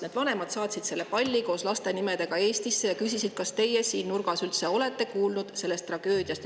Need vanemad saatsid selle palli koos laste nimedega Eestisse ja küsisid, kas teie seal nurgas üldse olete kuulnud sellest tragöödiast.